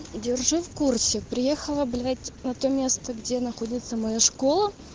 держи в курсе приехала блять на то место где находится моя школа